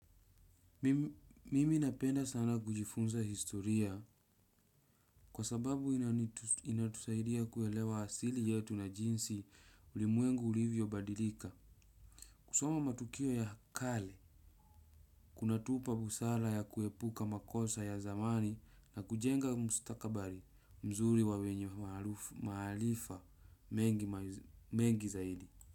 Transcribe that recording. Mimi napenda sana kujifunza historia kwa sababu inatusaidia kuelewa asili yetu na jinsi ulimwengu ulivyo badilika. Kusoma matukio ya kale, kunatupa busara ya kuepuka makosa ya zamani na kujenga mustakabali mzuri wa wenye maharifa mengi zaidi.